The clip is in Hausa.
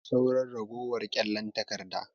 Babu sauran ragowar kyallen takarda.